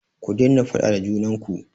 Ku daina faɗa da junan ku!